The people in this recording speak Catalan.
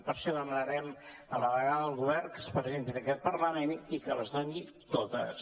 per això demanarem a la delegada del govern que es presenti en aquest parlament i que les doni totes